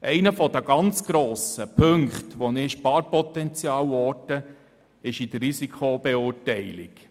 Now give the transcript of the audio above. Einer der Punkte, wo ich grosses Sparpotenzial orte, liegt bei der Risikobeurteilung.